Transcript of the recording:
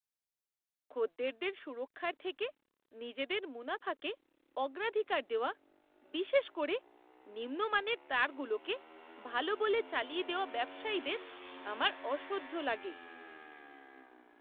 খদ্দেরদের সুরক্ষার থেকে নিজেদের মুনাফাকে অগ্রাধিকার দেওয়া, বিশেষ করে নিম্ন মানের তারগুলোকে ভালো বলে চালিয়ে দেওয়া ব্যবসায়ীদের আমার অসহ্য লাগে।